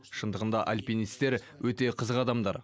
шындығында альпинистер өте қызық адамдар